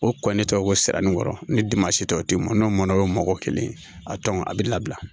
O kɔnnen tɛ ko sirani in kɔrɔ ni dimansi tɛ o tɛmɛn n'o mɔnna o ye mɔgɔ kelen ye a a bɛ labila